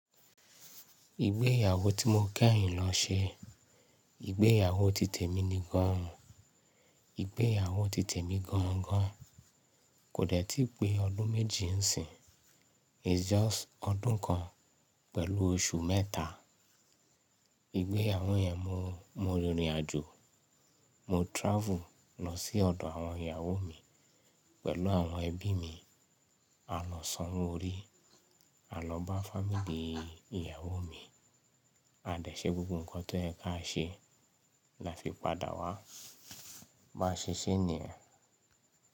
Ìgbéyàwó tí mo kẹ́yìn lọ ṣe, ìgbéyàwó ti tèmi ni gan-an, ìgbéyàwó ti tèmi gan-an-gan, kò dẹ̀ tíì pé ọdún méjì ń sìnyí, it's just ọdún kan pẹ̀lú oṣù mẹ́ta. Ìgbéyàwó yẹn mo, mo rìnrìn-àjò, mo travel lọ sí ọ̀dọ̀ àwọn ìyàwó mi pẹ̀lú àwọn ẹbí mi. A lọ san owó orí, a lọ bá family ìyàwó mi, a dẹ̀ ṣe gbogbo ǹkan tó yẹ̀ ká ṣe la fi padà wá. Bá a ṣe ṣé nì yẹn.